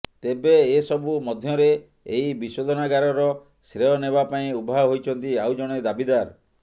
ତେବେ ଏ ସବୁ ମଧ୍ୟରେ ଏହି ବିଶୋଧନାଗାରର ଶ୍ରେୟ ନେବା ପାଇଁ ଉଭା ହୋଇଛନ୍ତି ଆଉ ଜଣେ ଦାବିଦାର